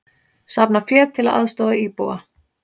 Safna fé til að aðstoða íbúa